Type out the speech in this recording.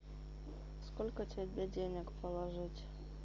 сколько тебе денег положить